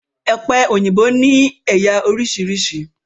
Ọ̀pẹ òyìnbó ni ẹ̀yà oríṣiríṣi